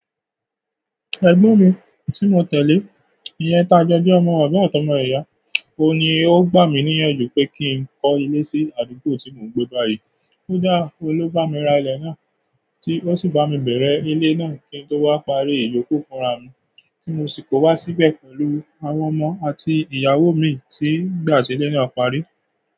Ẹ̀gbọ́n mi tí mo tẹ̀lé, ìyen taa jo je ọmọ, baba atọ́mọ ìyá, òun ni ó gbà mí níyànjú pé kí n kọ́ ilé sí àdúgbò tí mò ń gbé báyìí. Kodáa, òun ló bá mi ra ilẹ̀ náà, tí ó sì bá mi bẹ̀rẹ̀ ilé náà kín tó wá parí ìyoku fúnra mi tí mo sì kó wá síbẹ̀ pẹ̀lú àwọn ọmọ àti ìyáwo mi tí nìgbà tí ilé náà parí.